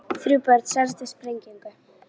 Þrjú börn særðust í sprengingu